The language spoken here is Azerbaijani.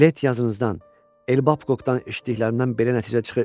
Lett Yazınızdan, El Babkoqdan eşitdiklərimdən belə nəticə çıxır.